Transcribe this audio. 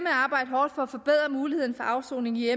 arbejde hårdt for at forbedre muligheden for afsoning i